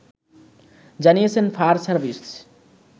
জানিয়েছে fire service